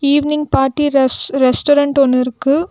Evening party res restaurant ஒன்னு இருக்கு.